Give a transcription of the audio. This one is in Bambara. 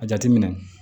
A jateminɛ